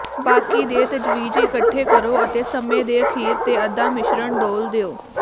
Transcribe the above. ਬਾਕੀ ਦੇ ਤਜਵੀਜ਼ ਇਕੱਠੇ ਕਰੋ ਅਤੇ ਸਮੇਂ ਦੇ ਅਖੀਰ ਤੇ ਅੱਧਾ ਮਿਸ਼ਰਣ ਡੋਲ੍ਹ ਦਿਓ